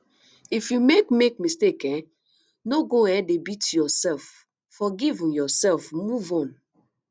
if you make make mistake um no go um dey beat yourself forgive um yourself move on